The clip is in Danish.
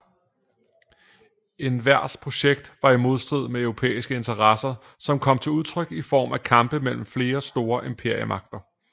Envers projekt var i modstrid med europæiske interesser som kom til udtryk i form af kampe mellem flere store imperiemagter